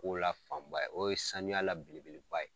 Kow la fanba ye, o ye sanuya la belebeleba ye.